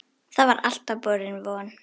Það var alltaf borin von